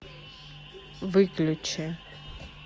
выключи